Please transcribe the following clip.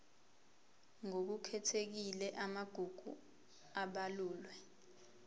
ngokukhethekile amagugu abalulwe